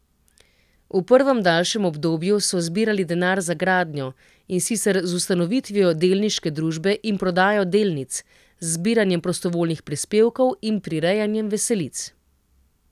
V prvem, daljšem obdobju so zbirali denar za gradnjo, in sicer z ustanovitvijo delniške družbe in prodajo delnic, z zbiranjem prostovoljnih prispevkov in prirejanjem veselic.